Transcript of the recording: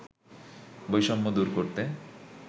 বৈষম্য দূর করতে